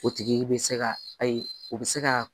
O tigi bɛ se ka ayi o bɛ se ka